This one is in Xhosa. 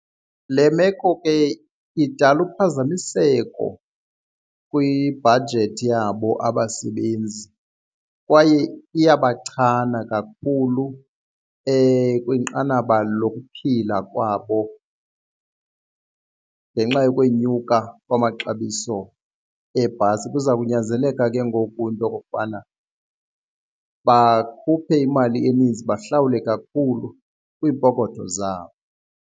Le meko ke idala uphazamiseko kwi-budget yabo abasebenzi kwaye iyabachana kakhulu kwinqanaba lokuphila kwabo ngenxa yokwenyuka kwamaxabiso eebhasi. Kuza kunyanzeleka ke ngoku into okokubana bakhuphe imali eninzi bahlawule kakhulu kwiipokotho zabo.